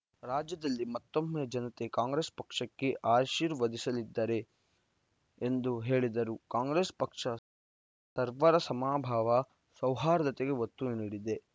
ರಾಜ್ಯದಲ್ಲಿ ಮತ್ತೊಮ್ಮೆ ಜನತೆ ಕಾಂಗ್ರೆಸ್‌ ಪಕ್ಷಕ್ಕೆ ಆಶೀರ್ವದಿಸಲಿದ್ದಾರೆ ಎಂದು ಹೇಳಿದರು ಕಾಂಗ್ರೆಸ್‌ ಪಕ್ಷ ಸರ್ವರ ಸಮಭಾವ ಸೌಹಾರ್ದತೆಗೆ ಒತ್ತು ನೀಡಿದೆ